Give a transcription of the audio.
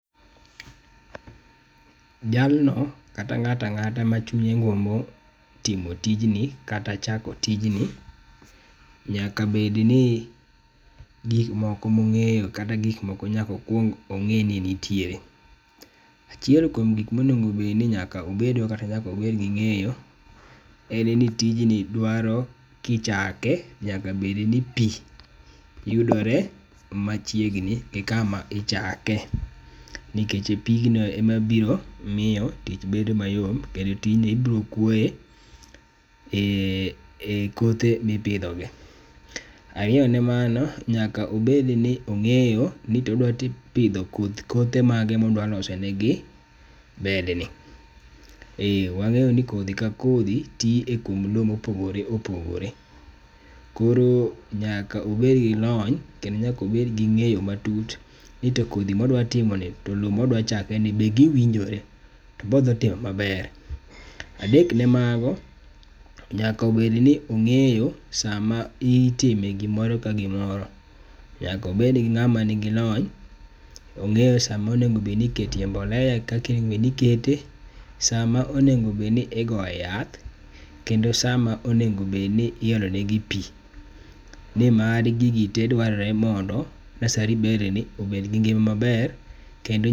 Jalno kata ng'ato ang'ata machunye gombo timo tijni, kata chako ijni nyaka bed ni gik moko mong'eyo kata gik moko nyaka okuong ong'e ni nitiere. Achiel kuom gik moko monego bed ni nyaka obedgo kata nyaka obed gi ng'eyo en ni tijni dwaro kichake nyaka bed ni pi yudore machiegni gikama ichake nikech pigno ema biro miyo tich bedo mayot kendo tijni ibiro kuoye ekothe mipidhogi. Ariyo ne mano, nyaka obed ni ong'eyo ni to odwa pith pidho kothe mage modwa loso negi bedni. Eh wang'eyo ni kodhi ka kodhi twi e kuonde lo mopogore opogore koro nyaka obed gi lony kendo nyaka obed gi ng'eyo matut nito kodhi ma odwa ting'oni to lowo modwa chakeni be giwinjore. Be odhi timo maber?. Adek ne mago, nyaka bed ni ong'eyo sama itime gimoro ka gimoro. Nyaka obed gi ng'ama nigi lony, ong'eyo sama onego bed ni iketo mbolea gi kakaonego bed ni ikete, sama onego bed ni igoye yath kendo sama onego bed ni iolonegi pi. Nimar gigi te dwarorore ni mondo nursery bedni obed gi ngima maber kendo